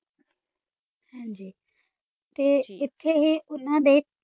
ਹੀ ਨਾ ਤਾ ਓਥ ਹੀ ਆ ਕਾ